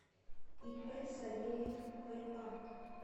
ип савельев ва